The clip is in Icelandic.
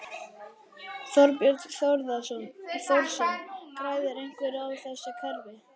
Þorbjörn Þórðarson: Græðir einhver á þessu kerfi?